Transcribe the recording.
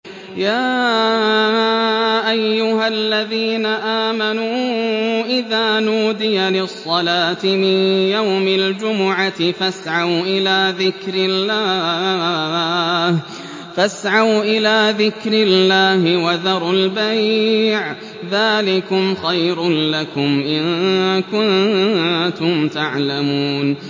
يَا أَيُّهَا الَّذِينَ آمَنُوا إِذَا نُودِيَ لِلصَّلَاةِ مِن يَوْمِ الْجُمُعَةِ فَاسْعَوْا إِلَىٰ ذِكْرِ اللَّهِ وَذَرُوا الْبَيْعَ ۚ ذَٰلِكُمْ خَيْرٌ لَّكُمْ إِن كُنتُمْ تَعْلَمُونَ